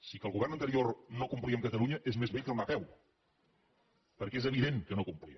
si que el govern anterior no complia amb catalunya és més vell que anar a peu perquè és evident que no complia